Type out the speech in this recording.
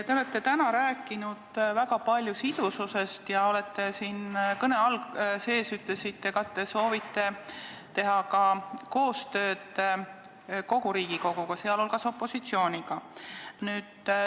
Te olete täna rääkinud väga palju sidususest ja oma kõnes ütlesite ka, et te soovite teha koostööd kogu Riigikoguga, sh opositsiooniga.